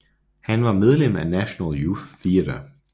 Han var medlem af National Youth Theatre